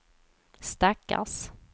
stackars